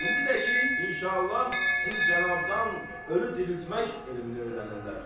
İndi də ki, inşallah, siz cənabdan ölü diriltmək elmini öyrənirlər.